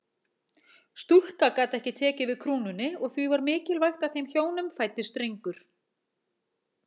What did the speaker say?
Stúlka gat ekki tekið við krúnunni og því var mikilvægt að þeim hjónum fæddist drengur.